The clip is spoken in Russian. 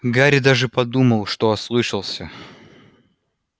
гарри даже подумал что ослышался